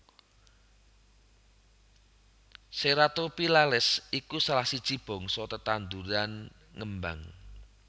Ceratophyllales iku salah siji bangsa tetanduran ngembang